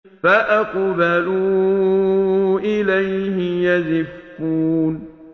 فَأَقْبَلُوا إِلَيْهِ يَزِفُّونَ